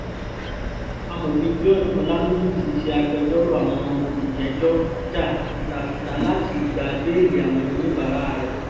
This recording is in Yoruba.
amòfin george olaniyi tí í ṣe agbẹjọ́rò àwọn olùjẹ́jọ́ jà fitafita láti gba béèlì àwọn oníbàárà rẹ̀